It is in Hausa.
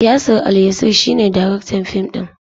Yasir Alyasir shi ne daraktan fim din.